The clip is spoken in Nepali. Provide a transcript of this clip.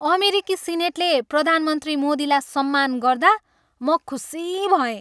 अमेरिकी सिनेटले प्रधानमन्त्री मोदीलाई सम्मान गर्दा म खुसी भएँ।